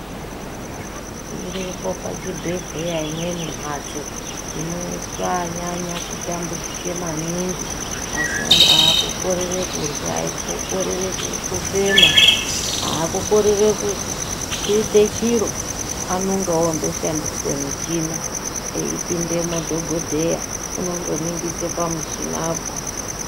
Iripo pachibhedhleya imweni mhatso inoiswe anyanya kutambudzika maningi. Asi akukorere kurya, kukorere kufema, hakukorere kuite chiro anonga ondo shandise muchina eipinde madhogodheya unondo ningise pamuchinapo.